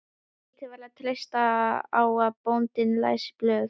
Lítið var að treysta á að bóndinn læsi blöð.